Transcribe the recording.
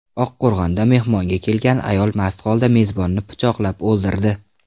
Oqqo‘rg‘onda mehmonga kelgan ayol mast holda mezbonni pichoqlab o‘ldirdi.